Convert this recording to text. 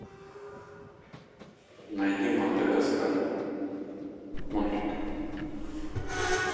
найди мадагаскар мультик